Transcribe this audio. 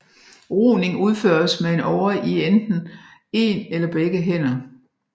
Roning udføres med en åre i enten en eller begge hænder